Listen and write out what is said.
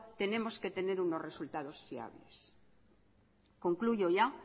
tenemos que tener unos resultados fiables concluyo ya